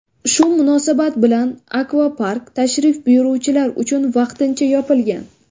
Shu munosabat bilan akvapark tashrif buyuruvchilar uchun vaqtincha yopilgan.